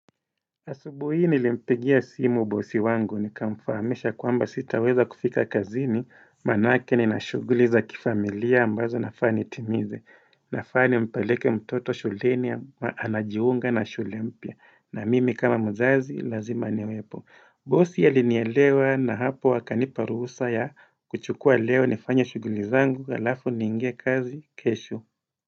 Asubuhi hii nilimpigia simu bosi wangu ni kamfahamisha kwamba sitaweza kufika kazini maanake nina shughuli za kifamilia ambazo nafaa nitimize nafaa ni mpeleke mtoto shuleni anajiunga na shule mpya na mimi kama mzazi lazima niwepo. Bosi alinielewa na hapo akanipa ruhusa ya kuchukua leo nifanye shughuli zangu alafu niingie kazi kesho.